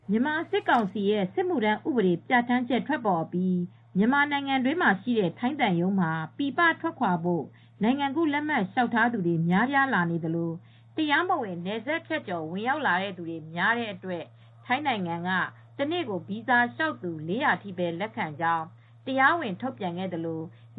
မြန်မာစစ်ကောင်စီရဲ့ စစ်မှုထမ်းဥပဒေပြဋ္ဌာန်းချက်ထွက်ပေါ်အပြီး မြန်မာနိုင်ငံမှာရှိတဲ့ထိုင်းသံရုံးမှာ ပြည်ပထွက်ခွါဖို့ နိုင်ငံကူးလက်မှတ်လျှောက်သူတွေများပြားလာသလို တရားမဝင်နယ်စပ်ဖြတ်ကျော်ဝင်ရောက်လာတာတွေများတဲ့အတွက်ထိုင်းနိုင်ငံက တနေ့ကိုဗီဇာလျှောက်သူ ၄၀၀ ထိပဲလက်ခံကြောင်း တရားဝင်ထုတ်ပြန်ခဲ့ပါတယ်။